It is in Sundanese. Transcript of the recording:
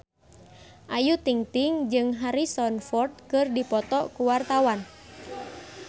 Ayu Ting-ting jeung Harrison Ford keur dipoto ku wartawan